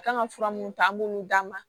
A kan ka fura mun ta an b'olu d'a ma